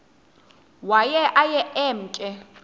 waye aye emke